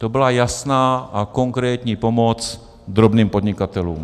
To byla jasná a konkrétní pomoc drobným podnikatelům.